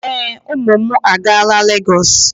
Ee, ụmụ m agaala Lagos.